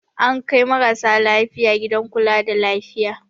An kai marasa lafiya gidan kula da lafiya.